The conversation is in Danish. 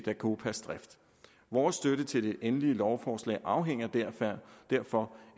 dacopas drift vores støtte til det endelige lovforslag afhænger derfor